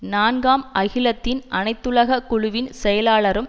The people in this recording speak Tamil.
நான்காம் அகிலத்தின் அனைத்துலக குழுவின் செயலாளரும்